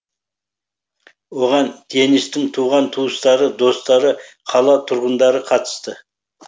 оған денистің туған туыстары достары қала тұрғындары қатысты